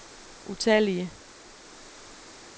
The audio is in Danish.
utallige